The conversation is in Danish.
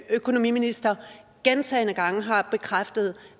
økonomiminister gentagne gange har bekræftet